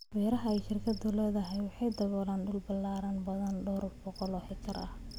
Beeraha ay shirkaddu leedahay waxay daboolaan dhul ballaaran, badanaa dhowr boqol oo hektar.